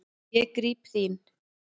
Ég gríp þín.